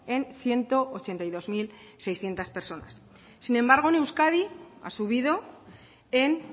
en ciento ochenta y dos mil seiscientos personas sin embargo en euskadi ha subido en